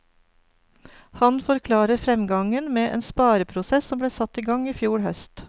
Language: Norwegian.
Han forklarer fremgangen med en spareprosess som ble satt i gang i fjor høst.